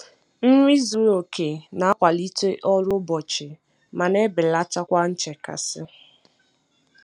Nri zuru oke na-akwalite ọrụ ụbọchị ma na-ebelata kwa nchekasị.